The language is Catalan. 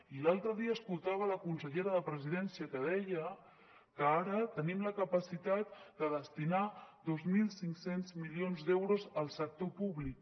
i l’altre dia escoltava la consellera de presidència que deia que ara tenim la capacitat de destinar dos mil cinc cents milions d’euros al sector públic